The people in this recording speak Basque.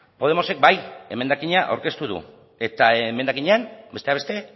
podemosek bai emendakina aurkeztu du eta emendakinean besteak beste